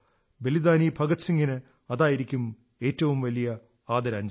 ബലിദാനി ഭഗത് സിംഗിന് അതായിരിക്കും ഏറ്റവും വലിയ ആദരാഞ്ജലി